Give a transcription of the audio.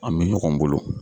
An bɛ ɲɔgɔn bolo.